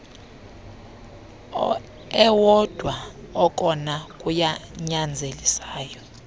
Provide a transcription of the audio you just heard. ewodwa okona kunyanzelisayo